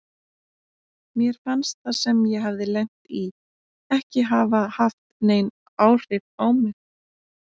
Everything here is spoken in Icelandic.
Mér fannst það sem ég hafði lent í ekki hafa haft nein áhrif á mig.